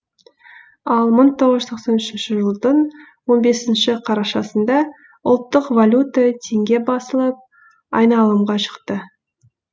ал мың тоғыз жүз тоқсан үшінші жылдың он бесінші қарашасында ұлттық валюта теңге басылып айналымға шықты